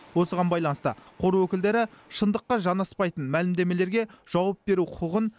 осыған байланысты қор өкілдері шындыққа жанаспайтын мәлімдемелерге жауап беру құқығын